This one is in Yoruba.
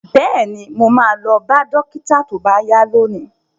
Bẹ́ẹ̀ni, mo ma lọ bá dókítà tó bá yá lónìí